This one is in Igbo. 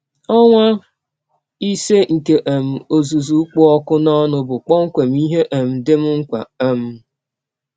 Ọnwa ise nke um ọzụzụ kpụ ọkụ n’ọnụ bụ kpọmkwem ihe um dị m mkpa. um